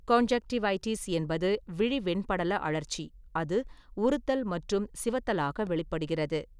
Conjunctivitis என்பது விழி வெண்படல அழற்சி, அது உறுத்தல் மற்றும் சிவத்தலாக வெளிப்படுகிறது.